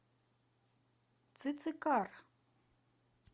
цицикар